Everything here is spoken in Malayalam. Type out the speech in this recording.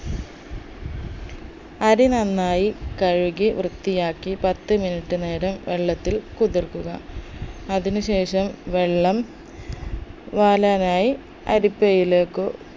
അരി നന്നായി കഴുകി വൃത്തിയാക്കി പത്ത് minute നേരം വെള്ളത്തിൽ കുതിർക്കുക അതിനു ശേഷം വെള്ളം വാലാനായി അരിപ്പയിലേക്കു